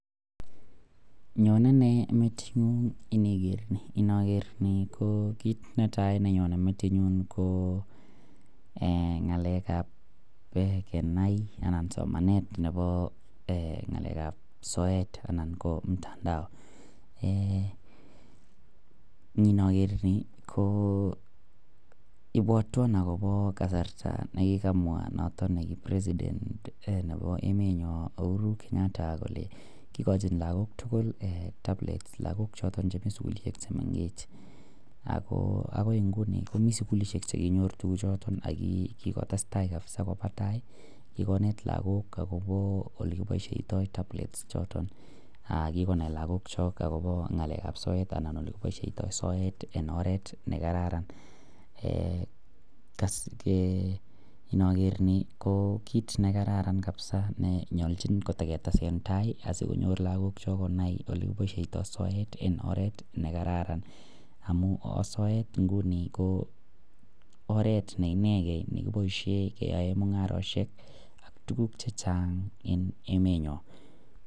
Nyonen ne metinyun iniker Ni naker Ni ko kit netai nenyonen metingung ko ngalek ab Kenai anan somanet Nebo ngalek ab soet anan ko mtandao inaker Ni ko ibwatwon akobo kasarta nekikamwa noton kibare president Nebo emet nyon uhuru Kenyatta Kole ikachin lagok tugul tablet lagok choton Chemiten sugulishek chemengechen akoi Nguni komiten sugulishek chekinyoru tuguk choton akokikotestai kabisa Koba tai kikonet lagok koba olekibaishoitoi tablets ichoton kikonai lagok chok akobo ngalek ab soet ak yelekibaishiyoi sort en oret nekararan inaker Ni ko kit nekararan kabisa konyalchin kotaketesentai asikonyor lagok chai konai olekibaishoitoi soet en oret nekararan amun sort inguni ko oret neineken nekibaishen keyaen mungaret ak tuguk chechang en emeniyon